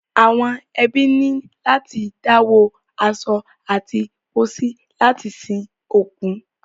Àwọn ẹbí ní láti dáwó aṣọ àti pósí láti sin òkú.